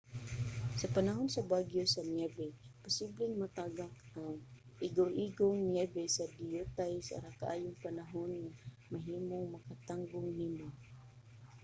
sa panahon sa bagyo sa niyebe posibleng matagak ang igoigong niyebe sa diyutay ra kaayong panahon nga mahimong makatanggong nimo